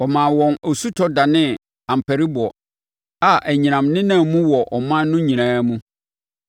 Ɔmaa wɔn osutɔ danee ampariboɔ a anyinam nenam mu wɔ ɔman no nyinaa mu;